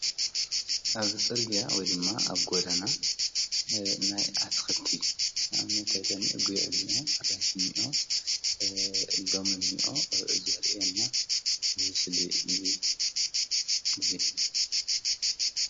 ኣብ ጽርግያ ወይ ድማ ኣብ ጐዳና ናይ ኣትክልቲ ኣብነት ኣይታኒ ጐይዕኒዮ ኣራንሽኒዮ ሎሚን ዘርየና ምስል እዩ እዙይ::